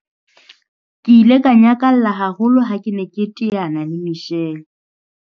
Ke ile ka nyakalla haholo ha ke ne ke teana le Michelle.